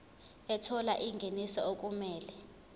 ethola ingeniso okumele